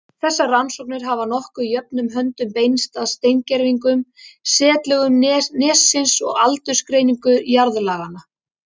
Þessar rannsóknir hafa nokkuð jöfnum höndum beinst að steingervingum, setlögum nessins og aldursgreiningum jarðlaganna.